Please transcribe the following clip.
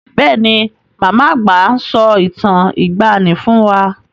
Bẹ́ẹ̀ ni, màmá àgbà máa ń sọ ìtàn ìgbàani fún wá.